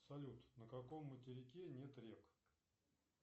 салют на каком материке нет рек